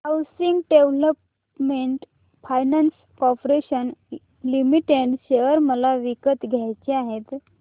housing development finance corporation limited share मला विकत घ्यायचे आहेत